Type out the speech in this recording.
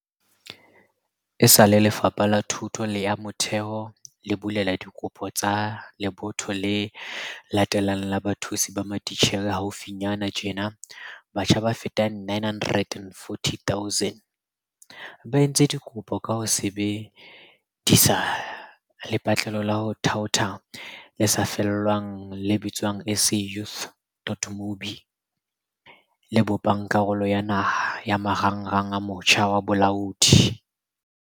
Esale Lefapha la Thuto ya Motheo le bulela dikopo tsa lebotho le latelang la bathusi ba matitjhere haufinyana tjena, batjha ba fetang 940 000 ba entse dikopo ka ho sebe disa lepatlelo la ho thaotha le sa lefellweng le bitswang SA Youth.mobi, le bopang karolo ya naha ya Marangrang a Motjha wa Bolaodi.